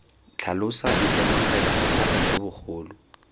tlhalosa itemogela bothata jo bogolo